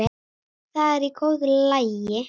Það er í góðu lagi,